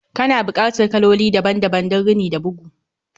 Kana bukatar kaloli daban-daban don rini da bugu